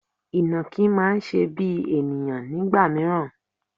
Ìnàkí máa ń ṣe bíi ènìyàn nígbà mìíràn.